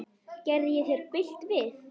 Gerði ég þér bylt við?